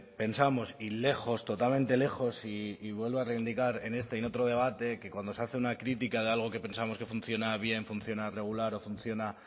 pensamos y lejos totalmente lejos y vuelvo a revindicar en este y en otro debate que cuando se hace una crítica de algo que pensamos que funciona bien funciona regular o funciona